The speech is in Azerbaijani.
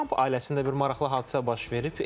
Tramp ailəsində bir maraqlı hadisə baş verib.